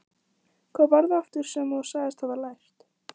Hvað var það aftur sem þú sagðist hafa lært?